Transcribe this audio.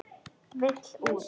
Vill út.